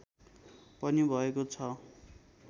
पनि भएको छ